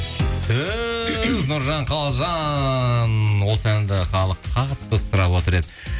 түһ нұржан қалжан осы әнді халық қатты сұрап отыр еді